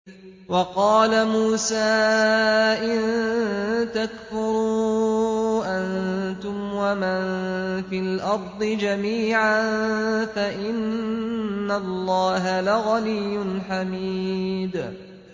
وَقَالَ مُوسَىٰ إِن تَكْفُرُوا أَنتُمْ وَمَن فِي الْأَرْضِ جَمِيعًا فَإِنَّ اللَّهَ لَغَنِيٌّ حَمِيدٌ